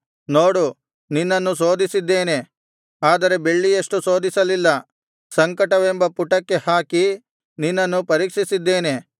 ನೋಡು ನಿನ್ನನ್ನು ಶೋಧಿಸಿದ್ದೇನೆ ಆದರೆ ಬೆಳ್ಳಿಯಷ್ಟು ಶೋಧಿಸಲಿಲ್ಲ ಸಂಕಟವೆಂಬ ಪುಟಕ್ಕೆ ಹಾಕಿ ನಿನ್ನನ್ನು ಪರೀಕ್ಷಿಸಿದ್ದೇನೆ